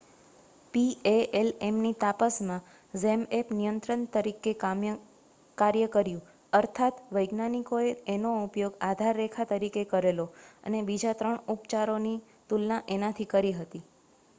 પીએએલએમની તાપસમાં ઝેમએપ નિયંત્રક તરીકે કાર્ય કર્યું અર્થાત વૈજ્ઞાનિકોએ એનો ઉપયોગ આધારરેખા તરીકે કરેલો અને બીજા ત્રણ ઉપચારોની તુલના એનાથી કરી હતી